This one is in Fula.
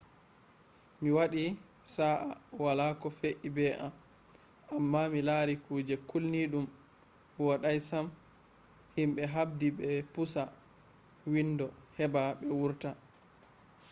mi waɗi sa’a wala ko fe’i be am amma mi lari kuje kilniiɗum woɗais am himɓe habdi ɓe pusa windo heɓa ɓe wurta